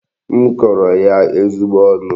M kọrọ ya ezigbo ọnụ.